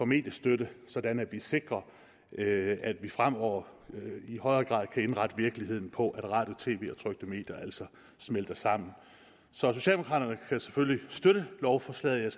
mediestøtte sådan at vi sikrer at vi fremover i højere grad kan indrette virkeligheden på at radio tv og trykte medier altså smelter sammen så socialdemokraterne kan selvfølgelig støtte lovforslaget